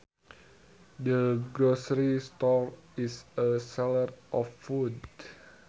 The grocery store is a seller of food